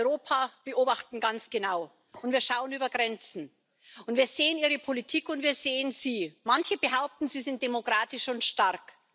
Wir Frauen in Europa beobachten ganz genau, wir schauen über Grenzen, und wir sehen Ihre Politik, und wir sehen Sie. Manche behaupten, Sie sind demokratisch und stark.